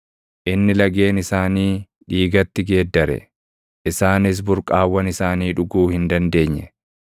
Inni lageen isaanii dhiigatti geeddare; isaanis burqaawwan isaanii dhuguu hin dandeenye.